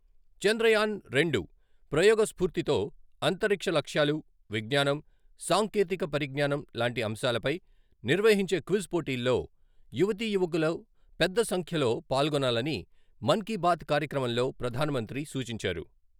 చంద్రయాన్ రెండు ప్రయోగ స్ఫూర్తితో అంతరిక్ష లక్ష్యాలు, విజ్ఞానం, సాంకేతిక పరిజ్ఞానం లాంటి అంశాలపై నిర్వహించే క్విజ్ పోటీల్లో యువతీ యువకుల పెద్ద సంఖ్యలో పాల్గొనాలని మనీబాత్ కార్యక్రమంలో ప్రధానమంత్రి సూచించారు.